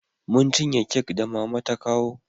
Mun cinye kek da mama ta kawo